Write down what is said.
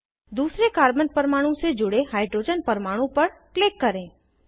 दूसरे कार्बन परमाणु से जुड़े हाइड्रोजन परमाणु पर क्लिक करें